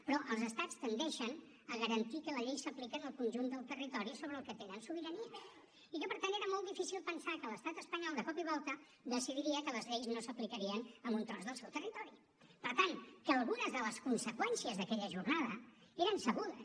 però els estats tendeixen a garantir que la llei s’aplica en el conjunt del territori sobre el que tenen sobirania i que per tant era molt difícil pensar que l’estat espanyol de cop i volta decidiria que les lleis no s’aplicarien en un tros del seu territori per tant que algunes de les conseqüències d’aquella jornada eren sabudes